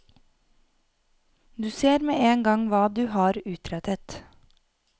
Du ser med en gang hva du har utrettet.